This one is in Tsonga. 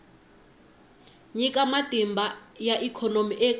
nyika matimba ya ikhonomi eka